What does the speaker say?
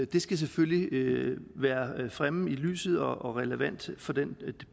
det skal selvfølgelig være fremme i lyset og relevant for den